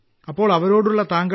അപ്പോൾ അവരോടുള്ള താങ്ക